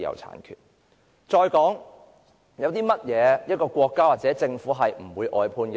還有甚麼是不容許國家或政府外判的呢？